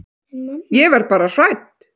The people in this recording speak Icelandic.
Ég verð bara hrædd.